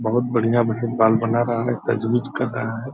बहुत बढ़ियां-बढ़ियां बाल बना रहा है कर रहा है।